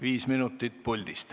Viis minutit puldist.